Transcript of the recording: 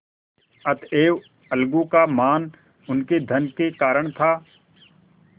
अतएव अलगू का मान उनके धन के कारण था